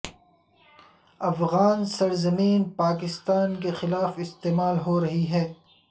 افغان سرزمین پاکستان کے خلاف استعمال ہو رہی ہے